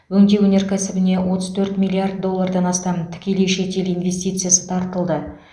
өңдеу өнеркәсібіне отыз төрт миллиард доллардан астам тікелей шетел инвестициясы тартылды